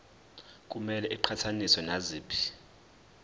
kumele iqhathaniswe naziphi